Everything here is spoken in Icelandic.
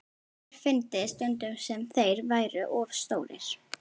Sér fyndist stundum sem þeir væru of stórir.